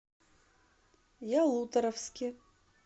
ялуторовске